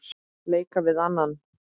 leika við annan